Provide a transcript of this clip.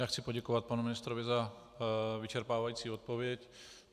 Já chci poděkovat panu ministrovi za vyčerpávající odpověď.